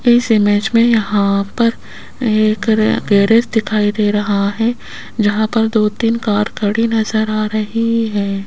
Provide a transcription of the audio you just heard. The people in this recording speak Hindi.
इस इमेज में यहां पर एक गैरेज दिखाई दे रहा है जहां पर दो तीन कार खड़ी नजर आ रही है।